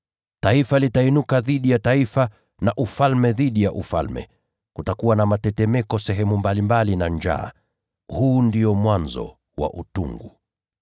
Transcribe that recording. Taifa litainuka dhidi ya taifa na ufalme dhidi ya ufalme. Kutakuwa na mitetemeko sehemu mbalimbali na njaa. Haya yatakuwa ndio mwanzo wa utungu.